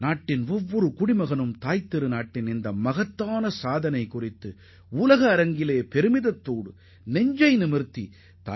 இந்திய தாயை தலைநிமிரச் செய்துள்ள இந்த சிலை ஒவ்வொரு இந்தியரையும் பெருமிதம் அடையச் செய்யும் என நான் நம்புகிறேன்